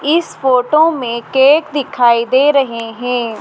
इस फोटो में केक दिखाई दे रहे हैं।